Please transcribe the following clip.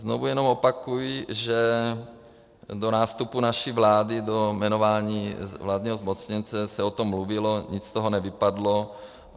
Znovu jenom opakuji, že do nástupu naší vlády, do jmenování vládního zmocněnce se o tom mluvilo, nic z toho nevypadlo.